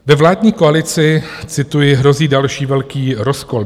Ve vládní koalici, cituji, hrozí další velký rozkol.